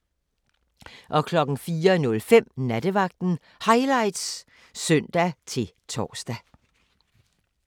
04:05: Nattevagten Highlights (søn-tor)